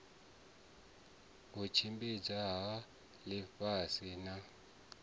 u tshimbidzwa ha ḽifhasi na